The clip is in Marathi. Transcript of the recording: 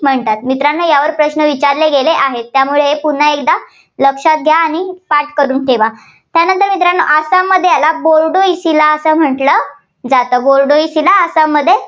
म्हणतात. मित्रांनो यावर प्रश्न विचारले गेले आहेत. त्यामुळे पुन्हा एकदा लक्षात घ्या आणि पाठ करून ठेवा. त्यानंतर मित्रांनो आसाममध्ये याला बोर्डोइचिला असं म्हटलं जातं. बोर्डोइचिला आसाममध्ये